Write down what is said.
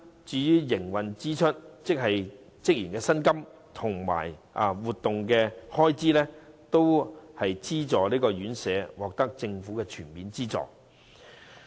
至於營運支出方面，即職員的薪金及活動開支等，資助院舍也會獲政府全面資助。